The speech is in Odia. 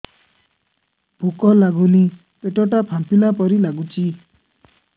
ଭୁକ ଲାଗୁନି ପେଟ ଟା ଫାମ୍ପିଲା ପରି ନାଗୁଚି